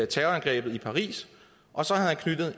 terrorangrebet i paris og så havde